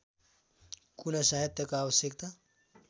कुनै सहायताको आवश्यकता